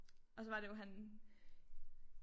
Og så var det jo han